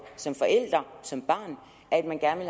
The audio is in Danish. som forælder som barn at man gerne